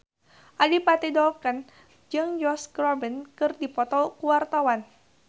Adipati Dolken jeung Josh Groban keur dipoto ku wartawan